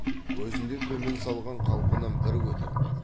көзін де төмен салған қалпынан бір көтермеді